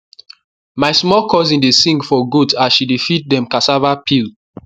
my small cousin dey sing for goat as she dey feed dem cassava peel